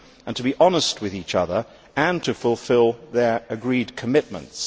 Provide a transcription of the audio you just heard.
to be honest with each other, and to fulfil their agreed commitments.